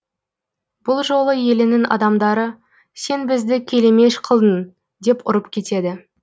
бұл жолы елінің адамдары сен бізді келемеж қылдың деп ұрып кетеді